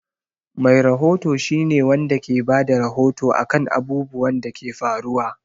Mai rahoto shi ne Wanda ke Bada rahoto akan abubwan Dake faruwa